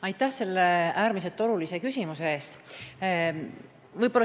Aitäh selle äärmiselt olulise küsimuse eest!